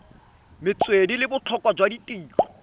metswedi le botlhokwa jwa tirelo